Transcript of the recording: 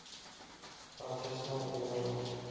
rassisme lewe nog